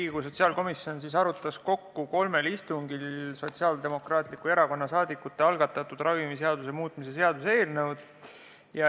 Riigikogu sotsiaalkomisjon arutas kolmel istungil Sotsiaaldemokraatliku Erakonna saadikute algatatud ravimiseaduse muutmise seaduse eelnõu.